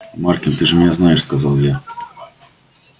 маркин ты же меня знаешь сказал я